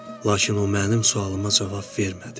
Lakin o mənim sualıma cavab vermədi.